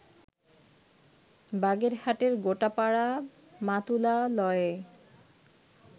বাগেরহাটের গোটাপাড়া মাতুলালয়ে